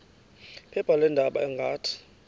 phepha leendaba ngathi